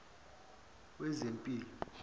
wezempilo